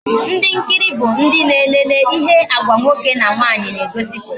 Ndi nkiri bụ ndị na-elele ihe Agwa nwoke na nwaanyị na egosiputa